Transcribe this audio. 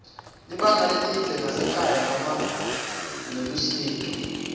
libanga lelidze nasekhaya noma nelusito